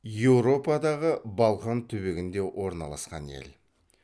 еуропадағы балқан түбегінде орналасқан ел